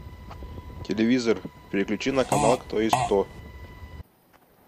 телевизор переключи на канал кто есть кто